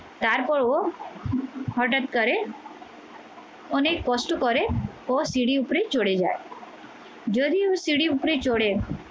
তারপর ও হঠাৎ করে অনেক কষ্ট করে ও সিঁড়ি উপরে চলে যায় যদিও সিঁড়ি উপরে চড়ে